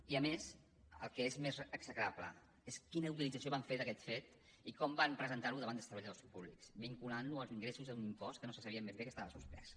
i a més el que és més execrable és quina utilització van fer d’aquest fet i com van presentar·ho davant dels treballadors públics vinculant·ho als in·gressos d’un impost que no se sabia ben bé que esta·va suspès